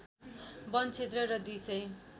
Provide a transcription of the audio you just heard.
वन क्षेत्र र २ सय